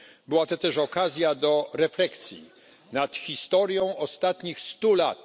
Była to też okazja do refleksji nad historią ostatnich stu lat.